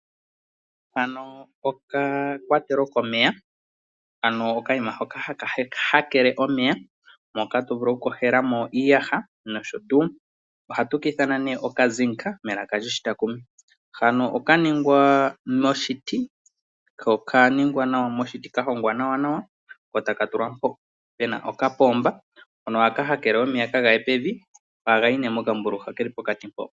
Haka okakwatelo komeya, ano okanima hoka haka hakele omeya moka to vulu okukoshela mo iiyaha noshotuu, ohatu ka ithana nee oka zinc melaka lyoshitakumi , hano oka ningwa moshiti okaningwa moshiti kahongwa nawa nawa, ko taka tulwa mpoka puna okapomba hono haka hakele omeya kagaye pevi ohaga yi nee pokambululu ha keli pokati mpo